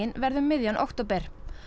verði um miðjan október